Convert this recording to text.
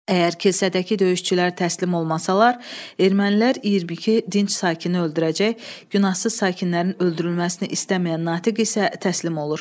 Əgər kilsədəki döyüşçülər təslim olmasalar, ermənilər 22 dinc sakini öldürəcək, günahsız sakinlərin öldürülməsini istəməyən Natiq isə təslim olur.